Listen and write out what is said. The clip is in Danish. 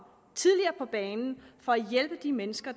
tidligere på banen for at hjælpe de mennesker